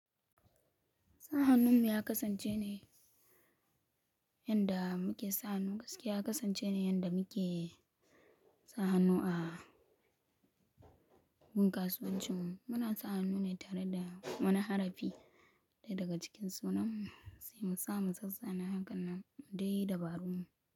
Sa hannunmu ya kasance ne yanda muke sa hannu gaskiya, ya kasance ne yanda muke sa hannu a gun kasuwancinmu. Muna sa hannun ne tare da wani harafi ɗaya daga cikin sunan mu sai mu sa mu sassana hakan nan muyi dabarunmu.